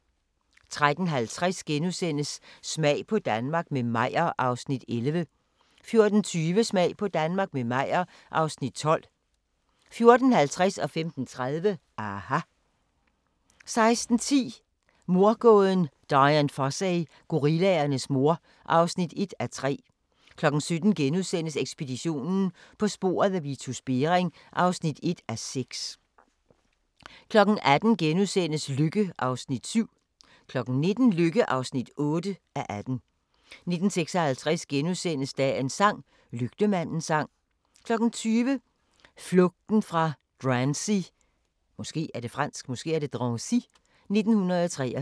13:50: Smag på Danmark – med Meyer (Afs. 11)* 14:20: Smag på Danmark – med Meyer (Afs. 12) 14:50: aHA! 15:30: aHA! 16:10: Mordgåden Dian Fossey - gorillaernes mor (1:3) 17:00: Ekspeditionen - på sporet af Vitus Bering (1:6)* 18:00: Lykke (7:18)* 19:00: Lykke (8:18) 19:56: Dagens sang: Lygtemandens sang * 20:00: Flugten fra Drancy i 1943